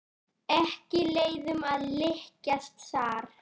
Ekki leiðum að líkjast þar.